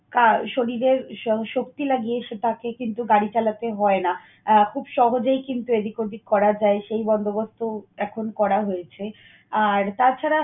আহ শরীরের শক্তি লাগিয়ে সে তাকে কিন্তু গাড়ি চালাতে হয় না। আহ খুব সহজেই কিন্তু এদিক ওদিক করা যায়, সেই বন্দোবস্ত এখন করা হয়েছে। আর তাছাড়া